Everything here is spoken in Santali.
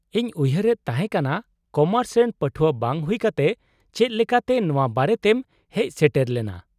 -ᱤᱧ ᱩᱭᱦᱟᱹᱨᱮᱫ ᱛᱟᱦᱮᱸ ᱠᱟᱱᱟ ᱠᱳᱢᱟᱨᱥ ᱨᱮᱱ ᱯᱟᱹᱴᱷᱣᱟᱹ ᱵᱟᱝ ᱦᱩᱭ ᱠᱟᱛᱮ ᱪᱮᱫ ᱞᱮᱠᱟᱛᱮ ᱱᱚᱶᱟ ᱵᱟᱨᱮᱛᱮᱢ ᱦᱮᱡ ᱥᱮᱴᱮᱨ ᱞᱮᱱᱟ ᱾